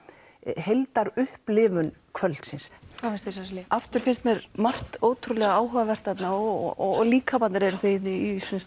heildar upplifun kvöldsins hvað finnst þér Sesselja aftur finnst mér margt ótrúlega áhugavert þarna og líkamarnir eru í